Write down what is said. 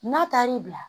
N'a taar'i bila